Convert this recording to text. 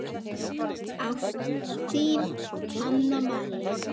Ást, þín, Hanna María.